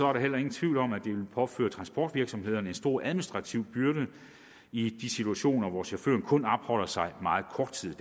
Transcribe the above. er der heller ingen tvivl om at det ville påføre transportvirksomhederne en stor administrativ byrde i de situationer hvor chaufføren kun opholder sig meget kort tid i